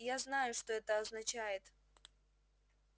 я знаю что это означает